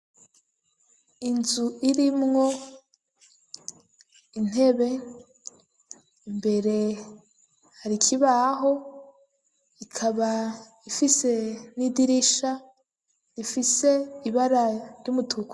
Inzu, irimwo intebe, imbere hari ikibaho, ikaba ifise n'idirisha, rifise ibara ry'umutuku.